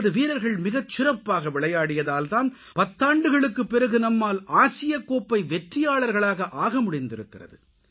நமது வீரர்கள் மிகச்சிறப்பாக விளையாடியதால் தான் பத்தாண்டுகளுக்குப் பிறகு நம்மால் ஆசியக்கோப்பை வெற்றியாளர்களாக ஆக முடிந்திருக்கிறது